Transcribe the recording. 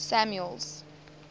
samuel's